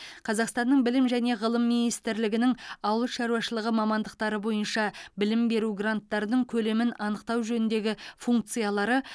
қазақстанның білім және ғылым министрлігінің ауыл шаруашылығы мамандықтары бойынша білім беру гранттарының көлемін анықтау жөніндегі функциялары